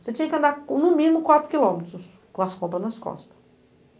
Você tinha que andar no mínimo quatro quilômetros com as compras nas costas.